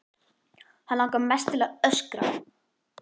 Hann langar mest til að öskra.